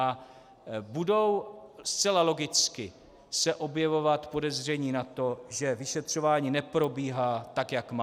A budou zcela logicky se objevovat podezření na to, že vyšetřování neprobíhá tak, jak má.